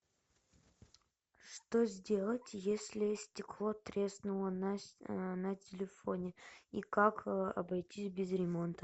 что сделать если стекло треснуло на телефоне и как обойтись без ремонта